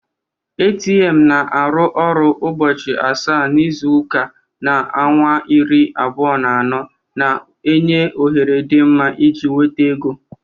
ATM na-arụ ọrụ ubochi asaa na izuka na awa iri abuo na ano, na-enye ohere dị mma iji nweta ego.